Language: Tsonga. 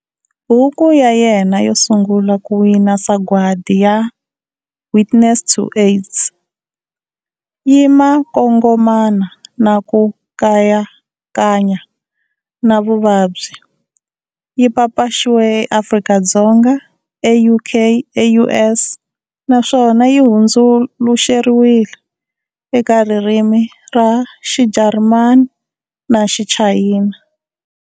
Buku ya yena yo sungula ku wina sagwati ya,"Witness to AIDS", yi makongomana na ku kayakanya na vuvabyi. Yi papaxiwe eAfrika-Dzonga, eUK, eUS na swona yi hundzuluxeriwe eka ririmi ra XiJarimani na Xichayina.